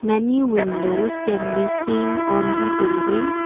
many windows can be seen on the building.